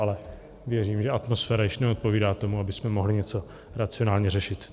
Ale věřím, že atmosféra již neodpovídá tomu, abychom mohli něco racionálně řešit.